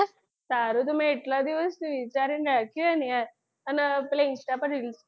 તારું તો મેં એટલા દિવસ થી વિચારીને રાખ્યું છે યાર અને પેલી insta પર reels